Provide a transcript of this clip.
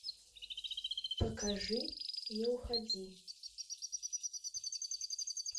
покажи не уходи